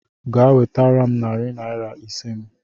Gaa wetere m narị naira ise m